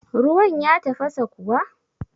Ruwan ya tafasa kuwa?